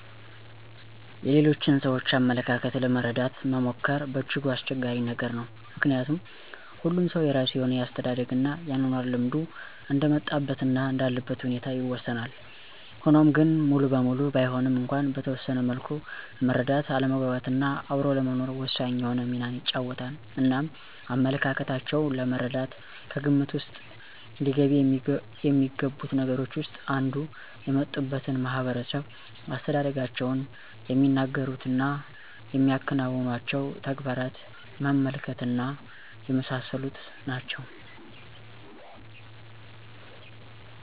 የሌሎችን ሰዎች አመለካከት ለመረደት መሞከር በእጅጉ አስቸጋሪ ነገር ነው። ምከንያቱም ሁሉም ሰው የራሱ የሆነ የአስተዳደግ እና የአኗኗር ልምዱ እንደ መጣበት እና እንዳለበት ሁኔታ ይወሰናል፤ ሆኗም ግን ሙሉበሙሉ ባይሆንም እንኳን በተወሰነ መልኩ መረዳት ለመግባት እና አብሮ ለመኖር ወሳኝ የሆነ ሚናን ይጫወታል። እናም አመለካከታቸው ለመረዳት ከግምት ዉስጥ ሊገቢ የሚገቡት ነገሮች ዉስጥ አንዱ የመጡበትን ማህበረሰብ፣ አስተዳደጋቸውን፣ የሚናገሩት እና የሚያከናውኑቸዉ ተግባራት መመልከት እና የመሳሰሉት ናቸው።